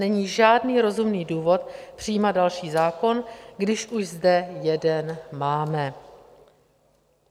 Není žádný rozumný důvod přijímat další zákon, když už zde jeden máme.